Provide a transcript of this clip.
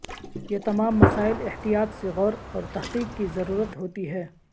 یہ تمام مسائل احتیاط سے غور اور تحقیق کی ضرورت ہوتی ہے